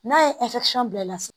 N'a ye bila la so